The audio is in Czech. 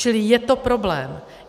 Čili je to problém.